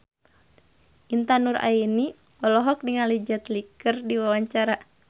Intan Nuraini olohok ningali Jet Li keur diwawancara